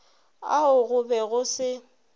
ao go be go se